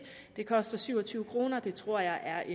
det koster syv og tyve kr og det tror jeg er